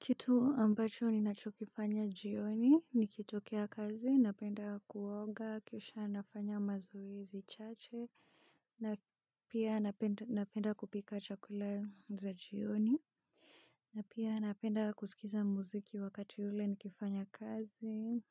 Kitu ambacho ni nachokifanya jioni, nikitokea kazi, napenda kuoga, kisha nafanya mazoezi chache, na pia napenda kupika chakula za jioni, na pia napenda kusikiza muziki wakati ule nikifanya kazi,